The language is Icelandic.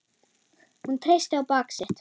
Hún treysti á bak sitt.